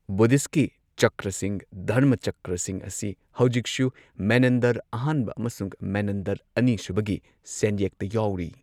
ꯕꯨꯙꯤꯁꯠꯀꯤ ꯆꯀ꯭ꯔꯁꯤꯡ ꯙꯔꯃꯆꯀ꯭ꯔꯁꯤꯡ ꯑꯁꯤ ꯍꯧꯖꯤꯛꯁꯨ ꯃꯦꯅꯟꯗꯔ ꯑꯍꯥꯟꯕ ꯑꯃꯁꯨꯡ ꯃꯦꯅꯟꯗꯔ ꯑꯅꯤ ꯁꯨꯕꯒꯤ ꯁꯦꯟꯌꯦꯛꯇ ꯌꯥꯎꯔꯤ꯫